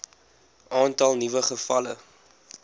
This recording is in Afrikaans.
aantal nuwe gevalle